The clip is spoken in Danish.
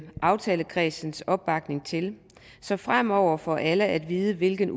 aftalekredsens opbakning til så fremover får alle at vide hvilken